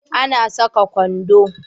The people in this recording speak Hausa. Ana sakan kwando